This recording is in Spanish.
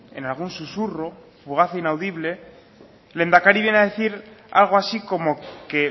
en algún susurro fugaz e inaudible el lehendakari viene a decir algo así como que